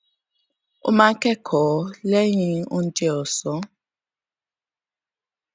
ó máa ń kẹkọọ lẹyìn oúnjẹ òsán